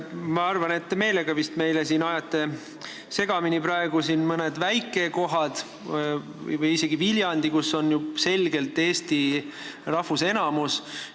Ma arvan, et te vist meelega ajate siin praegu asju segamini, rääkides mõnest väikekohast või isegi Viljandist, kus on ju selgelt eesti rahvusenamus.